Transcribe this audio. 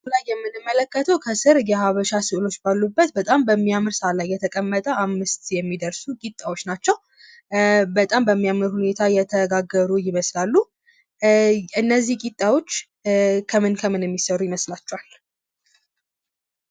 ከላይ የምንመለከተው ከስር የሃበሻ ስዕሎች ባሉበት በጣም በሚያምር ሳህን ላይ የተቀመጠ አምስት የሚደርሱ ቂጣዎች ናቸው። በጣም በሚያምር ሁኔታ የተጋገሩ ይመስላሉ። እነዚህ ቂጣዎች ከምን ከምን የሚሰሩ ይመስላችኋል?